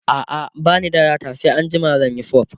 a'a bani da data sai anjima zanyi sub